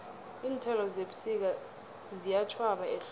iinthelo zebusika ziyatjhwaba ehlobo